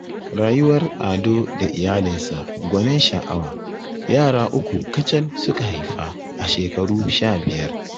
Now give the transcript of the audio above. Rayuwar Ado da iyalinsa gwanin sha'awa, yara uku kacal suka haifa a shekaru sha biyar